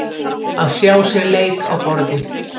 Að sjá sér leik á borði